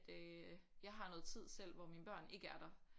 Øh jeg har noget tid selv hvor mine børn ikke er der